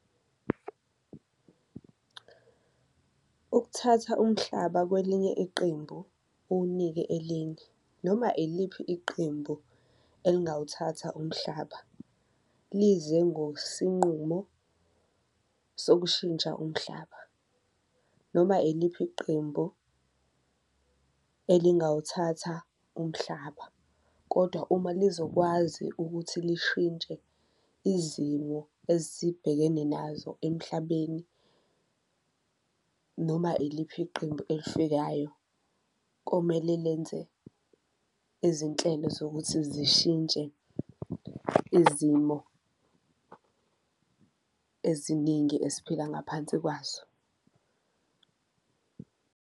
Ukuthatha umhlaba kwelinye iqembu uwunike elinye noma iliphi iqembu elingawuthatha umhlaba lize ngosinqumo sokushintsha umhlaba noma iliphi iqembu elingawuthatha umhlaba, kodwa uma lizokwazi ukuthi lishintshe izimo esibhekene nazo emhlabeni. Noma iliphi iqembu elifikayo komele lenze izinhlelo zokuthi zishintshe izimo eziningi esiphila ngaphansi kwazo.